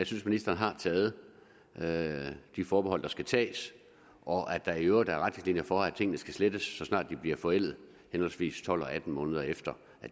synes ministeren har taget taget de forbehold der skal tages og at der i øvrigt er retningslinjer for at tingene skal slettes så snart de bliver forældet henholdsvis tolv og atten måneder efter